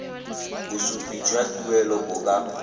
bosupi jwa tuelo bo ka